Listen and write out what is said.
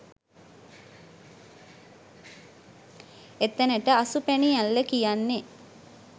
එතැනට අසුපැනි ඇල්ල කියන්නේ.